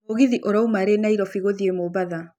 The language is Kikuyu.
mũgithi ũrauma rĩ Nairobi gũthiĩ mombatha